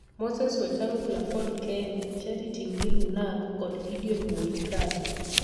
Moses Wetangula (Ford Kenya), Charity Ngilu (Narc) kod Gideon Moi (Kanu).